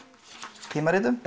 tímaritum